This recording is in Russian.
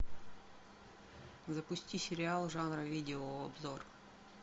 запусти сериал жанра видеообзор